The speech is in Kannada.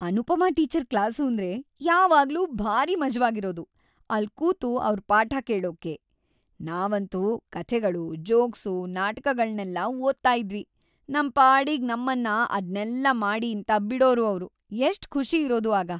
ಅನುಪಮಾ ಟೀಚರ್ ಕ್ಲಾಸೂಂದ್ರೆ ಯಾವಾಗ್ಲೂ ಭಾರೀ ಮಜವಾಗಿರೋದು ಅಲ್ಲ್ ಕೂತು ಅವ್ರ್‌ ಪಾಠ ಕೇಳೋಕೆ. ನಾವಂತೂ ಕಥೆಗಳು, ಜೋಕ್ಸು, ನಾಟಕಗಳ್ನೆಲ್ಲ ಓದ್ತಾ ಇದ್ವಿ, ನಮ್‌ ಪಾಡಿಗ್‌ ನಮ್ಮನ್ನ ಅದ್ನೆಲ್ಲ ಮಾಡೀಂತ ಬಿಡೋರು ಅವ್ರು, ಎಷ್ಟ್‌ ಖುಷಿ ಇರೋದು ಆಗ.